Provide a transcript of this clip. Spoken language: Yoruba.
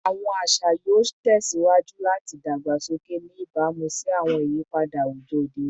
Awọn aṣa aṣa yoo tẹsiwaju lati dagbasoke, ni ibamu si awọn iyipada awujọ ode oni